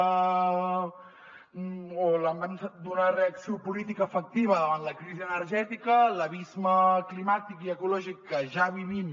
o la manca d’una reacció política efectiva davant la crisi energètica l’abisme climàtic i ecològic que ja vivim